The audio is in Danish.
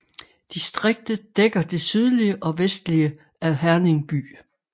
Distriktet dækker det sydlige og vestlige af Herning by